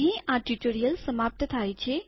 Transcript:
અહીં આ ટ્યુ્ટોરીઅલ સમાપ્ત થાય છે